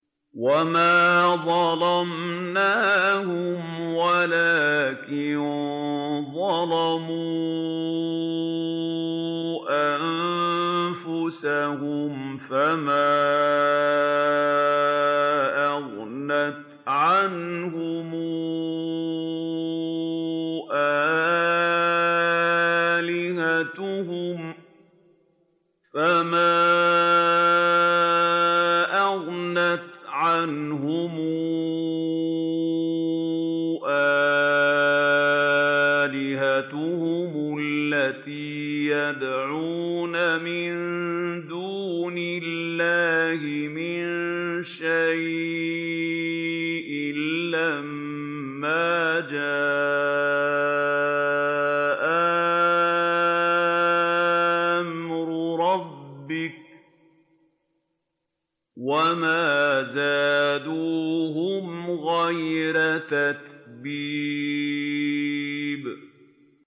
وَمَا ظَلَمْنَاهُمْ وَلَٰكِن ظَلَمُوا أَنفُسَهُمْ ۖ فَمَا أَغْنَتْ عَنْهُمْ آلِهَتُهُمُ الَّتِي يَدْعُونَ مِن دُونِ اللَّهِ مِن شَيْءٍ لَّمَّا جَاءَ أَمْرُ رَبِّكَ ۖ وَمَا زَادُوهُمْ غَيْرَ تَتْبِيبٍ